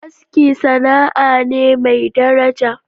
Aski sana'a ne mai daraja.